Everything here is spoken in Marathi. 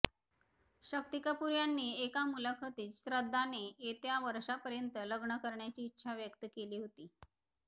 शक्ती कपूर यांनी एका मूलाखतीत श्रद्धाने येत्या वर्षापर्यंत लग्न करण्याची इच्छा व्यक्त केली होती